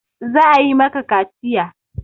Za a yi maka kaciya!